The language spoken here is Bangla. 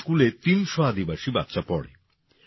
এই স্কুলে ৩০০ আদিবাসী বাচ্চা পড়ে